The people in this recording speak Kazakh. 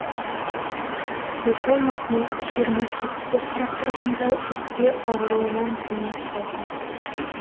сұлтанмахмұт жиырма сегізге қарап тұрғанда өкпе ауруынан дүние салды